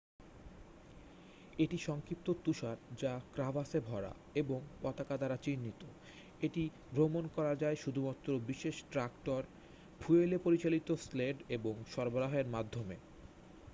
এটি সংক্ষিপ্ত তুষার যা ক্রাভাসে ভরা এবং পতাকা দ্বারা চিহ্নিত। এটি ভ্রমন করা যায় শুধুমাত্র বিশেষ ট্র‍্যাক্টর ফুয়েলে পরিচালিত স্লেড এবং সরবরাহের মাধ্যমে।